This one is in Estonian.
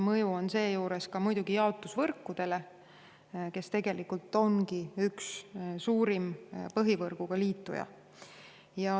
Mõju on seejuures muidugi jaotusvõrkudele, kes tegelikult ongi üks suurimaid põhivõrguga liitujaid.